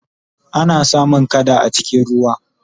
ana samun kada a cikin ruwa